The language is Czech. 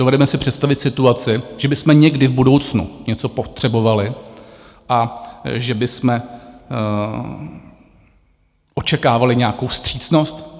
Dovedeme si představit situaci, že bychom někdy v budoucnu něco potřebovali a že bychom očekávali nějakou vstřícnost?